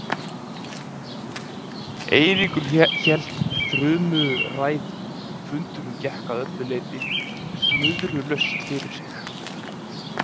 Eiríkur hélt þrumuræðu og fundurinn gekk að öllu leyti snurðulaust fyrir sig.